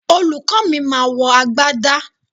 Olùkó mi ma wọ agbádá